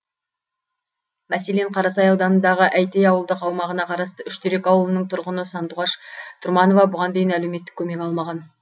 мәселен қарасай ауданындағы әйтей ауылдық аумағына қарасты үштерек ауылының тұрғыны сандуғаш тұрманова бұған дейін әлеуметтік көмек алмаған